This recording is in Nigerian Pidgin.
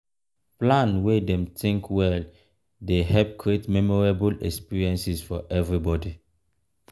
plan wey dem think well dey help create memorable experiences for everybody.